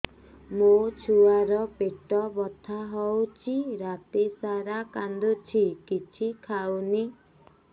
ମୋ ଛୁଆ ର ପେଟ ବଥା ହଉଚି ରାତିସାରା କାନ୍ଦୁଚି କିଛି ଖାଉନି